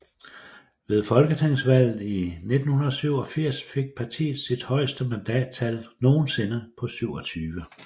Ved folketingsvalget 1987 fik partiet sit højeste mandattal nogensinde på 27